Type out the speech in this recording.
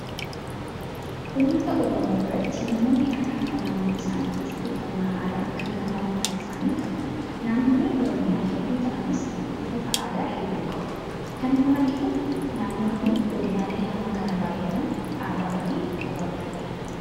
Uummata oromoo biratti namoonni akkaataa naannoo isaaniitti uffannaa aadaa kan mataa mataa isaanii qabu. Naannooleen oromiyaa hedduu ta'anis uffata aadaa hedduu qabu. Kan nama dhibu naannoon fi godinaalee hamma kana baay'atan aadaa ofii qabaachuudha